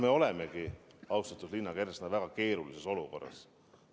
Me olemegi, austatud Liina Kersna, väga keerulises olukorras.